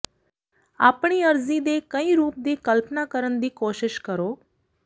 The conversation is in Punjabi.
ਆਪਣੀ ਅਰਜ਼ੀ ਦੇ ਕਈ ਰੂਪ ਦੀ ਕਲਪਨਾ ਕਰਨ ਦੀ ਕੋਸ਼ਿਸ਼ ਕਰੋ